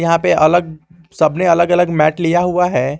यहाँ पे अलग सबने अलग अलग मैट लिया हुआ है।